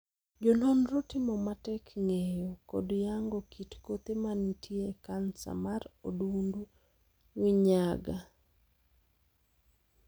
Jo nonro timo matek ng'eyo kod yango kit kothe mantie e kansa mar odundu minyaga.